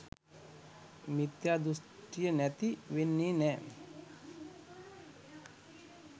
මිත්‍යා දුෂ්ටිය නැති වෙන්නේ නෑ